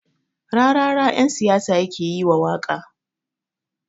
Rarara ƴan siyasa yake yiwa waƙa